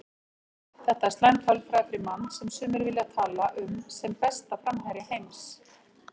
Þetta er slæm tölfræði fyrir mann sem sumir vilja tala um sem besta framherja heims.